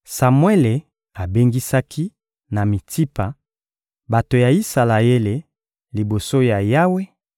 Samuele abengisaki, na Mitsipa, bato ya Isalaele liboso ya Yawe